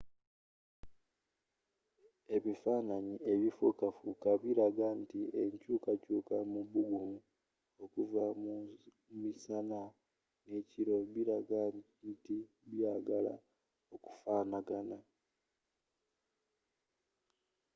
ebifananyi ebifuukafuuka bilaga nti enkyuukakyuuka mu bugumu okuva ku misana n'ekiro bilaga nti byagala okufanagana